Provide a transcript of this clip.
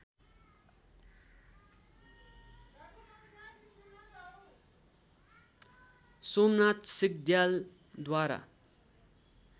Somnath सिग्द्यालद्वारा